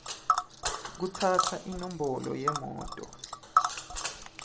kutsatsa inombolo yemoto